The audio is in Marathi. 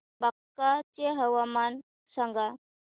बांका चे हवामान सांगा